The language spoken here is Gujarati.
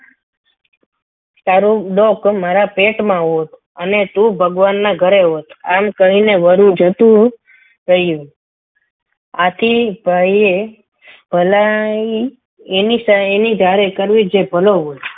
તારી ડોક મારા પેટમાં હોત અને તું ભગવાનના ઘરે હોત આમ કહીને વરુ જતું રહ્યું આથી ભાઈએ ભલાઈ એની એની જોડે કરવી જોઈએ જે ભલું હોય